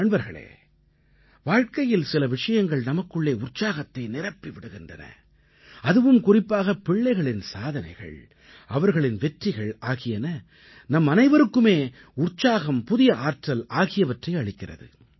நண்பர்களே வாழ்க்கையில் சில விஷயங்கள் நமக்குள்ளே உற்சாகத்தை நிரப்பி விடுகின்றன அதுவும் குறிப்பாக பிள்ளைகளின் சாதனைகள் அவர்களின் வெற்றிகள் ஆகியன நம்மனைவருக்குமே உற்சாகம் புதிய ஆற்றல் ஆகியவற்றை அளிக்கிறது